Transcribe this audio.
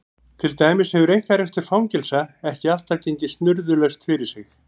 Til dæmis hefur einkarekstur fangelsa ekki alltaf gengið snurðulaust fyrir sig.